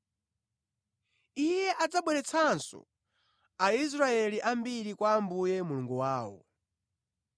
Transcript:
Iye adzabweretsanso Aisraeli ambiri kwa Ambuye Mulungu wawo.